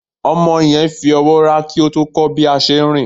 Omo yen yóò fí ọwọ rà ki o tó kó bi a se rín